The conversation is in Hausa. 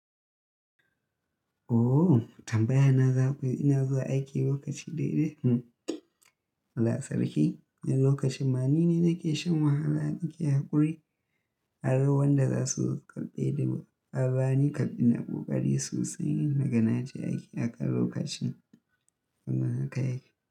Ooo tambaya na za, ina zuwa aiki lokaci daidai? Allah sarki, lokaci ma ni ne nake shan wahala in ke haƙuri. Har wanda za su kalɓe duba, abani kalɓin na ƙoƙari sosai nagana ce ake aƙar lokacin da na kai aiki.